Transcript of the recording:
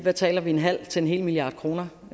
altså en halv til en hel milliard kroner